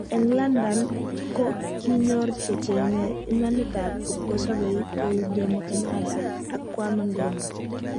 En london ko kinyor che chenge imanitab kipkosobei kou Jomo Kenyatta ak Kwame Nkuruma.